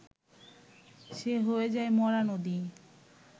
সে হয়ে যায় মরা নদী